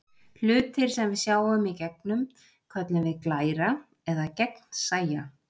Hlutir sem við sjáum í gegnum köllum við glæra eða gegnsæja.